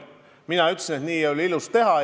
Mina ütlesin, et nii ei ole ilus teha.